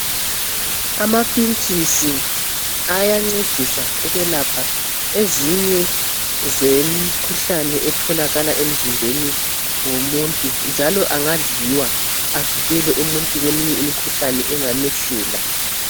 Amapintshisi ayancedisa ukwelapha ezinye zemikhuhlane etholakala emzimbeni womuntu, njalo angadliwa, avikele umuntu, kweminye imikhuhlane, engamehlela.